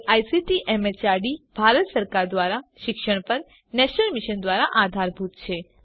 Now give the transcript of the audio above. જે ICT MHRD Bharat સરકાર દ્વારા શિક્ષણ પર નેશનલ મિશન દ્વારા આધારભૂત છે